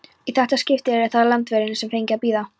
Í þetta skipti yrði það Indverjinn, sem fengi að bíða.